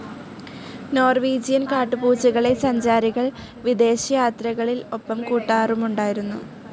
Norwegian കാട്ടുപൂച്ചകളെ സഞ്ചാരികൾ വിദേശയാത്രകളിൽ‌ ഒപ്പംകൂട്ടാറുമുണ്ടായിരുന്നു.